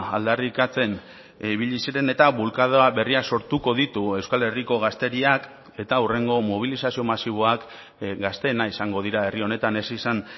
aldarrikatzen ibili ziren eta bulkada berriak sortuko ditu euskal herriko gazteriak eta hurrengo mobilizazio masiboak gazteena izango dira herri honetan ez izan